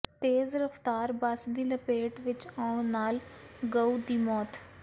ਤੇਜ਼ ਰਫ਼ਤਾਰ ਬੱਸ ਦੀ ਲਪੇਟ ਵਿਚ ਆਉਣ ਨਾਲ ਗਊ ਦੀ ਮੌਤ